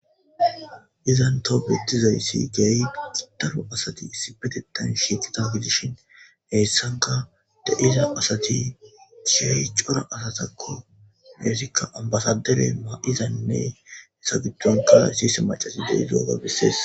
izan too betizayssi gey daro asati issi betetan shiiqita gidishin heessanka de7iza asati chiy cora asatakko heesikka ambasadere ma7izanne hesagitonka siise macasi deizwaga bissees